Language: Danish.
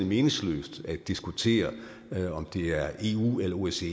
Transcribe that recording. meningsløst at diskutere om det er eu eller osce